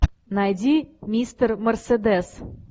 найди мистер мерседес